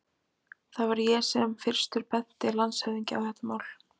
Það var ég sem fyrstur benti landshöfðingja á þetta mál.